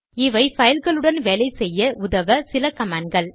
இவை பைல்களுடன் வேலை செய்ய உதவ சில கமாண்ட் கள்